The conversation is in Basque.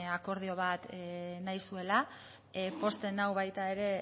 akordio bat nahi zuela pozten nau baita ere